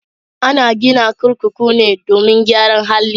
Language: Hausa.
Ana gina kurkuku ne domin gyaran hali.